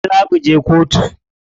Gobe za muje kotu.